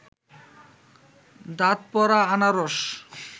দাঁত পড়া আনারস